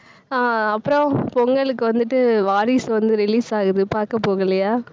ஆஹ் அப்புறம் பொங்கலுக்கு வந்துட்டு வாரிசு வந்து release ஆகுது பார்க்க போகலையா